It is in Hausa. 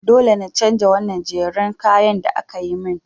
Dole na chanja wannan jerin kayan da akayi min.